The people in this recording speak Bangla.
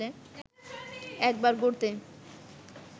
একবার ঘুরতে